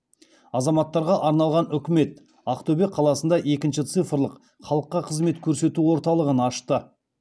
азаматтарға арналған үкімет ақтөбе қаласында екінші цифрлық халыққа қызмет көрсету орталығын ашты